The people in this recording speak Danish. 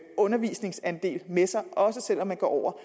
undervisningsandel med sig også selv om man går over